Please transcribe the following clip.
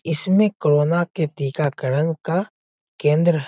इसमें कोरोना के टीकाकरण का केंद्र है।